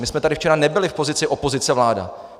My jsme tady včera nebyli v pozici opozice-vláda.